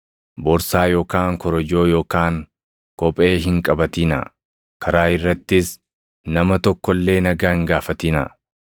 Borsaa yookaan korojoo yookaan kophee hin qabatinaa; karaa irrattis nama tokko illee nagaa hin gaafatinaa.